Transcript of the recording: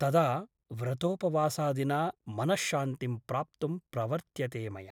तदा व्रतोपवासादिना मनःशान्तिं प्राप्तुं प्रवर्त्यते मया ।